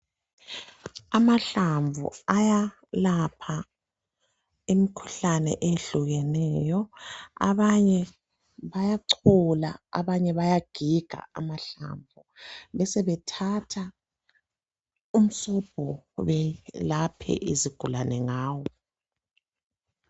Amahlamvu ayalapha imkhuhlane eyehlukeneyo abanye bayachola abanye bayagiga amahlamvu besebethatha umsobho belaphe izigulane ngawo.